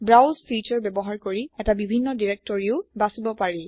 browse feature ব্যৱহাৰ কৰি এটা বিভিন্ন ডিৰেক্টৰীও বাচিব পাৰি